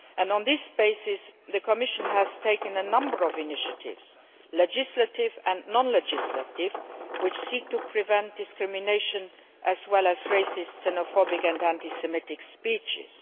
On this basis, the Commission has taken a number of initiatives legislative and non legislative which seek to prevent discrimination as well as racist, xenophobic and anti Semitic speeches.